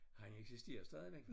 Han eksisterer stadigvæk